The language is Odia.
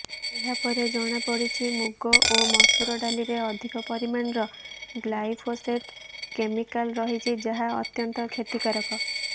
ଏହାପରେ ଜଣାପଡିଛି ମୁଗ ଓ ମସୋରି ଡାଲିରେ ଅଧିକ ପରିମାଣର ଗ୍ଲାଇଫୋସେଟ କ୍ୟାମିକାଲ ରହିଛି ଯାହା ଅତ୍ୟନ୍ତ କ୍ଷତିକାରକ